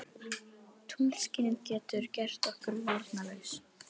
Tunglskinið getur gert okkur varnarlaus.